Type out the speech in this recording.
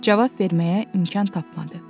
Cavab verməyə imkan tapmadı.